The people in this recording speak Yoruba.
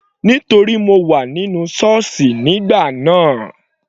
Nítorí mo wà nínú sọ́ọ̀sì nígbà náà.